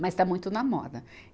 Mas está muito na moda.